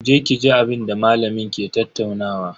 Je ki ji abinda malamin ke tattaunawa.